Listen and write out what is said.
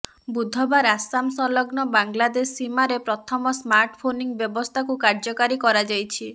ବୁଧବାର ଆସାମ ସଂଲଗ୍ନ ବାଂଲାଦେଶ ସୀମାରେ ପ୍ରଥମ ସ୍ମାର୍ଟ ଫେନସିଂ ବ୍ୟବସ୍ଥାକୁ କାର୍ଯ୍ୟକାରୀ କରାଯାଇଛି